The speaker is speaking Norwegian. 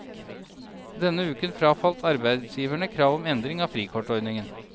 Denne uken frafalt arbeidsgiverne krav om endring av frikortordningen.